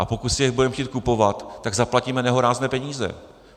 A pokud si je budeme chtít kupovat, tak zaplatíme nehorázné peníze.